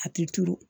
A ti turu